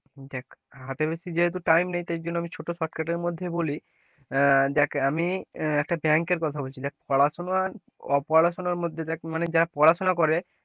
দেখ হাতে বেশি যেহেতু time নাই তাই জন্য আমি ছোট shortcut মধ্যে বলি আহ দেখ আমি একটা bank এর কথা বলছি দেখ পড়াশোনার অপড়াশোনা মানে দেখ যারা পড়াশোনা করে,